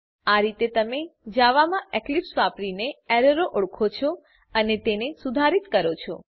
આ રીતે તમે જાવા માં એક્લીપ્સ વાપરીને એરરો ઓળખો છો અને તેને સુધારીત કરો છો